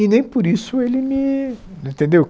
E nem por isso ele me, entendeu?